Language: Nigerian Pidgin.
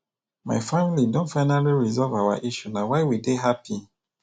my family don finally resolve our issue na why we dey happy